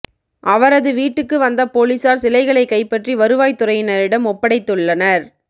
அவரது வீட்டுக்கு வந்த போலீசார் சிலைகளை கைப்பற்றி வருவாய் துறையினரிடம் ஒப்படைத்துள்ளனர்